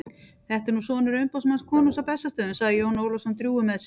Þetta er nú sonur umboðsmanns konungs á Bessastöðum, sagði Jón Ólafsson drjúgur með sig.